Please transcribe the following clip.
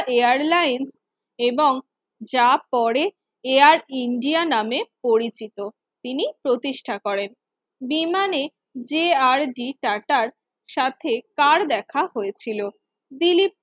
Airlines এবং যা পড়ে Air India নামে পরিচিত তিনি প্রতিষ্ঠা করেন বিমানেযে আর ডি টাটার সাথে কার দেখা হয়েছিল দিলীপ